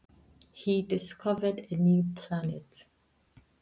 Hann uppgötvaði nýja reikistjörnu!